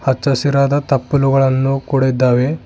ಹಚ್ಚ ಹಸಿರಾದ ತಪ್ಪಲುಗಳನ್ನು ಕೂಡ ಇದ್ದಾವೆ.